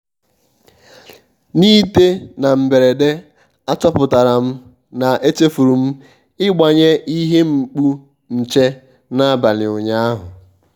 n'ịtè na mberede àchọ́pụ̀tàrà m na èchèfùrù m ị́gbànyé ìhè mkpù nchè n'àbàlị̀ ụ́nyàahụ́.